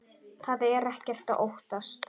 Það er ekkert að óttast.